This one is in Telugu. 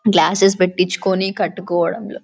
గ్లాసెస్ పెట్టించుకుని కట్టించుకోవడం లో --